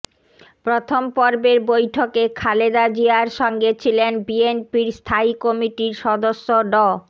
প্রথম পর্বের বৈঠকে খালেদা জিয়ার সঙ্গে ছিলেন বিএনপির স্থায়ী কমিটির সদস্য ড